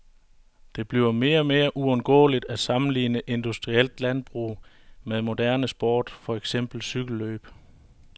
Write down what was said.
Det bliver mere og mere uundgåeligt at sammenligne industrielt landbrug med moderne sport, for eksempel cykellløb.